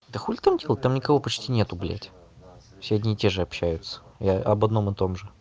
да хули там делать там никого почти нет блять все одни и те же общаются и об одном и том же